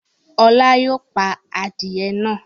Ọlá yóò pa adìẹ náà!